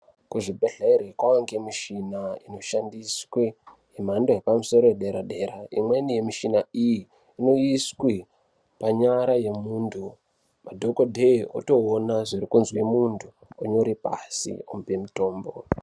Kuzvibhedhlere kwaange michina inoshandiswe yemhando yepamusoro yedera dera imweni yemichina iyi inoiswe panyara yemunthu madhokodheya otoona zviri kuzwe munthu onyore pashi omupe mitombo.